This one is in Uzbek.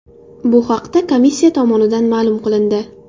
Bu haqda komissiya tomonidan ma’lum qilindi .